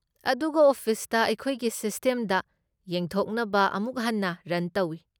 ꯑꯗꯨꯒ ꯑꯣꯐꯤꯁꯅ ꯃꯈꯣꯏꯒꯤ ꯁꯤꯁꯇꯦꯝꯗ ꯌꯦꯡꯊꯣꯛꯅꯕ ꯑꯃꯨꯛ ꯍꯟꯅ ꯔꯟ ꯇꯧꯏ꯫